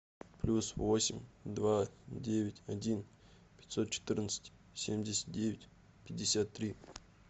плюс восемь два девять один пятьсот четырнадцать семьдесят девять пятьдесят три